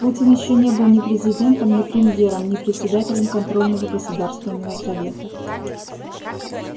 путин ещё не был ни президентом ни премьером ни председателем контрольного государственного совета